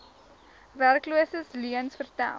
werkloses leuens vertel